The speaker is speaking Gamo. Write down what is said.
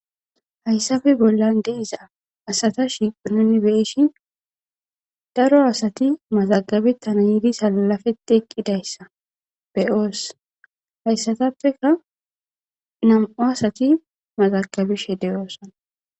Haysappe bollan de'iza asata shiiqo nuni beyishin daro asati mazagabetana yidi salabeti eqidaysa beyosi haysatappeka nam'u asati mazagabishe de'osona